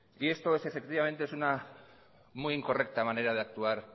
y esto efectivamente es una muy incorrecta manera de actuar